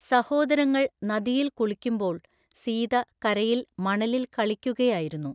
സഹോദരങ്ങൾ നദിയിൽ കുളിക്കുമ്പോൾ സീത കരയിൽ മണലിൽ കളിക്കുകയായിരുന്നു.